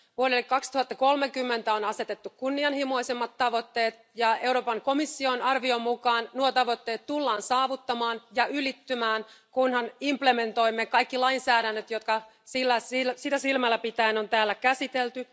Vuodelle 2030 on asetettu kunnianhimoisemmat tavoitteet, ja Euroopan komission arvion mukaan nuo tavoitteet tullaan saavuttamaan ja ylittämään, kunhan implementoimme kaikki lainsäädännöt, jotka sitä silmällä pitäen on täällä käsitelty.